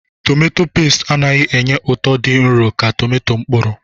Tomato peesti anaghị enye ụtọ dị nro ka tomato mkpụrụ.